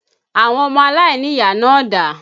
Àwọn ọmọ aláìníyàá náà dà?